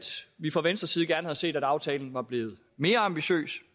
vi fra venstres side gerne havde set at aftalen var blevet mere ambitiøs